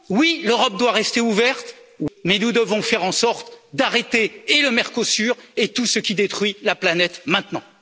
Oui, l'Europe doit rester ouverte, mais nous devons faire en sorte d'arrêter et le Mercosur et tout ce qui détruit la planète maintenant.